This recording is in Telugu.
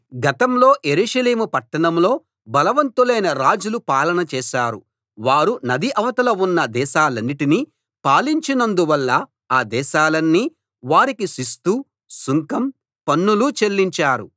గతంలో యెరూషలేము పట్టణంలో బలవంతులైన రాజులు పాలన చేశారు వారు నది అవతల ఉన్న దేశాలన్నిటినీ పాలించినందు వల్ల ఆ దేశాలన్నీ వారికి శిస్తు సుంకం పన్నులు చెల్లించారు